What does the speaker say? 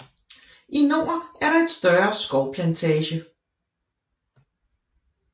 I nord er der et større skovplantage